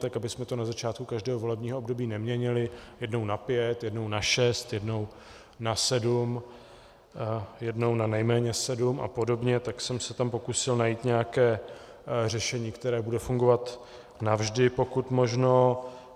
Tak abychom to na začátku každého volebního období neměnili jednou na pět, jednou na šest, jednou na sedm, jednou na nejméně sedm a podobně, tak jsem se tam pokusil najít nějaké řešení, které bude fungovat navždy, pokud možno.